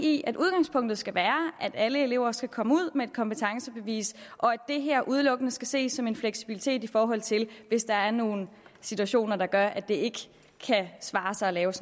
i at udgangspunktet skal være at alle elever skal komme ud med et kompetencebevis og at det her udelukkende skal ses som en fleksibilitet i forhold til hvis der er nogle situationer der gør at det ikke kan svare sig at lave